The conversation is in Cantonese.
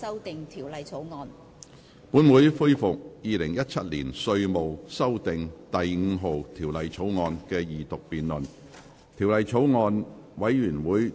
本會恢復《2017年稅務條例草案》的二讀辯論。